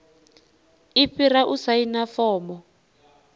i fhira u saina fomo